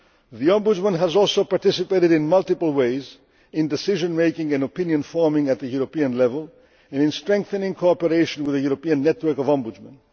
The Ombudsman has also participated in multiple ways in decision making and opinion forming at the European level and in strengthening cooperation with the European Network of Ombudsmen.